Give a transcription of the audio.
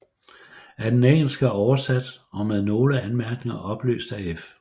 Af det engelske oversat og med nogle anmærkninger oplyst af F